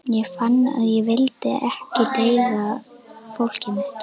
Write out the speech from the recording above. Ég fann að ég vildi ekki deyða fólkið mitt.